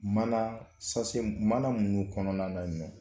Mana sase mana minnu kɔnɔna na ɲɔ